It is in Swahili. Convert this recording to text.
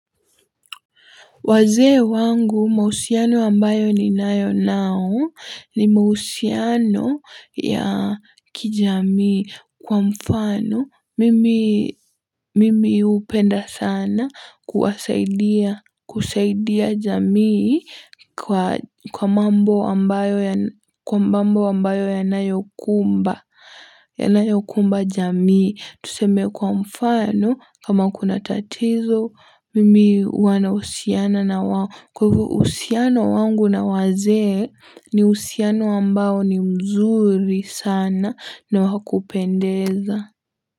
Wazee wangu mahusiano ambayo ninayo nao ni mahusiano ya kijamii kwa mfano. Mimi hupenda sana kuwasaidia jamii kwa mambo ambayo yanayokumba jamii. Tuseme kwa mfano kama kuna tatizo mimi huwa nahusiana na wao. Kwa hivyo uhusiano wangu na wazee ni uhusiano ambao ni mzuri sana na wa kupendeza.